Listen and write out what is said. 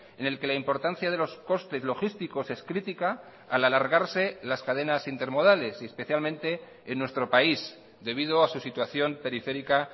en el que la importancia de los costes logísticos es crítica al alargarse las cadenas intermodales y especialmente en nuestro país debido a su situación periférica